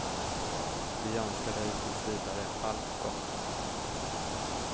Vi önskar dig tills vidare allt gott.